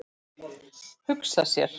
Hugsa sér!